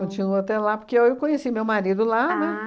Continua até lá, porque eu conheci meu marido lá, né? Ah